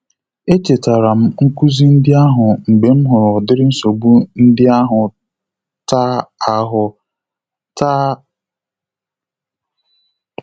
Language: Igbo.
Echetara m nkuzi ndị ahụ mgbe m hụrụ ụdịrị nsogbu ndị ahụ taa ahụ taa